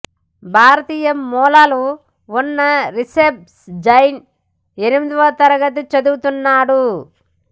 భారతీయ మూలాలు ఉన్న రిషబ్ జైన్ ఎనిమిదవ తరగతి చదువుతున్నాడు